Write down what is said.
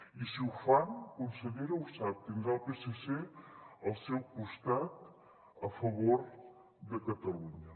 i si ho fan consellera ho sap tindrà el psc al seu costat a favor de catalunya